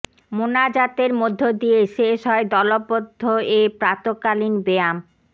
মোনাজাতের মধ্য দিয়ে শেষ হয় দলবদ্ধ এ প্রাতকালীন ব্যায়াম